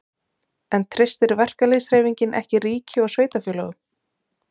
En treystir verkalýðshreyfingin ekki ríki og sveitarfélögum?